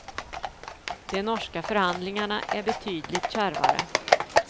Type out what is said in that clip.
De norska förhandlingarna är betydligt kärvare.